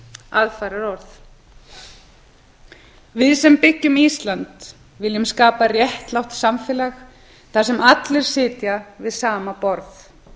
aðfaraorð við sem byggjum ísland viljum skapa réttlátt samfélag þar sem allir sitja við sama borð